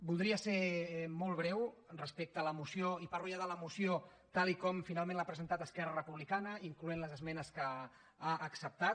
voldria ser molt breu respecte a la moció i parlo ja de la moció tal com finalment l’ha presentada esquerra republicana incloent hi les esmenes que ha acceptat